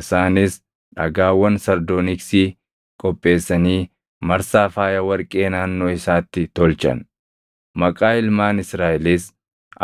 Isaanis dhagaawwan sardooniksii qopheessanii marsaa faaya warqee naannoo isaatti tolchan; maqaa ilmaan Israaʼelis